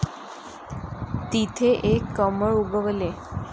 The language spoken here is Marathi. तिथे एक कमळ उगवले.